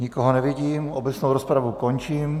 Nikoho nevidím, obecnou rozpravu končím.